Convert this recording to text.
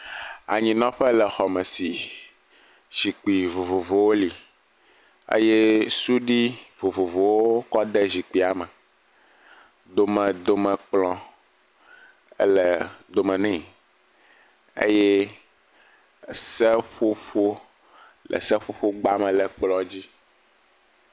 Anyinɔƒe le xɔme si zikpui vovovowo li eye sudui vovovowo wokɔ de zikpuia me. Domedome kplɔ ele dome ne eye le seƒoƒo gbame le ekplɔ dzi.